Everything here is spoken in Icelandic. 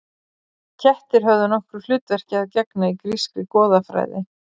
Kettir höfðu nokkru hlutverki að gegna í grískri goðafræði.